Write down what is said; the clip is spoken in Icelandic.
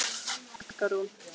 Helga Rún.